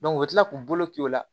u bɛ tila k'u bolo k'u la